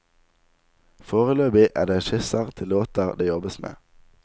Foreløpig er det skisser til låter det jobbes med.